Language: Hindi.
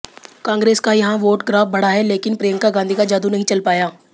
कांग्रेस का यहां वोट ग्राफ बढ़ा है लेकिन प्रियंका गांधी का जादू नहीं चल पाया